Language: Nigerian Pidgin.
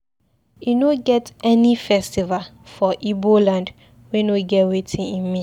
E no get any festival for Ibo land wey no get wetin e mean.